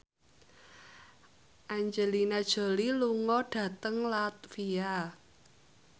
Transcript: Angelina Jolie lunga dhateng latvia